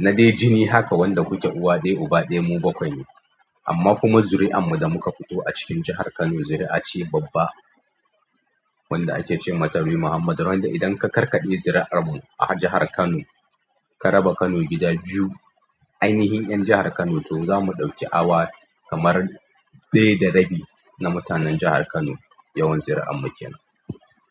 na dai jini haka wanda ku ke uwa ɗaya uba ɗaya mu bakwai ne. Amma kuma zuri'an mu da muka fito a cikin jahar Kano zuri'a ce babba wanda ake ce mata bin Muhammadu wanda idan ka karkaɗe zuri'an mu a jahar Kano ka raba Kano gida biyu, ainihin ƴan jahar Kano to zamu ɗauki awa kamar dai da rabi na mutanen jahar Kano yawan zuri'an mu kenan.